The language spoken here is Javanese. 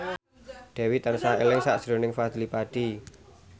Dewi tansah eling sakjroning Fadly Padi